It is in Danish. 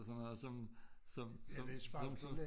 Sådan noget som som som som sådan